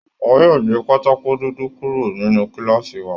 Wọn yóò gbé Pátákó dúdú kúrò nínú kíláàsì wa